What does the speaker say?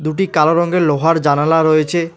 দুটি কালো রঙ্গের লোহার জানালা রয়েছে।